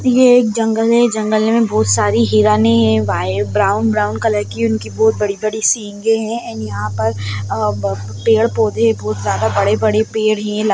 ये एक जंगल है जंगल में बहुत सारी हिरणे है व्हाइट ब्राउन ब्राउन कलर की उनकी बहुत बड़ी बड़ी सिंघे है एंड यहाँ पर आ पेड़ पौधे बहुत ज्यादा बड़े-बड़े पेड़ है।